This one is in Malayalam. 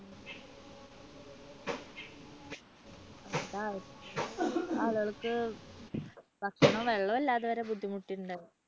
അവർക്ക് ഭക്ഷണവും വെള്ളവുമില്ലാതെ വരെ ബുദ്ധിമുട്ടിട്ടുണ്ടായിരുന്നു.